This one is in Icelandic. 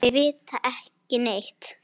Þau vita ekki neitt.